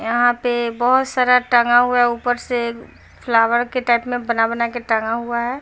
यहाँ पे बहुत सारा टांगा हुआ हैं ऊपर से फ्लॉवर के टाइप में बना-बना के टांगा हुआ हैं।